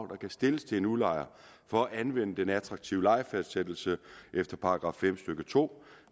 kan stilles til en udlejer for at anvende den attraktive lejefastsættelse efter § fem stykke to